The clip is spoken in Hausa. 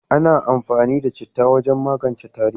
Ana amfani da citta wajen magance tari.